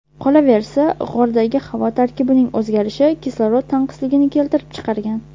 Qolaversa, g‘ordagi havo tarkibining o‘zgarishi kislorod tanqisligini keltirib chiqargan.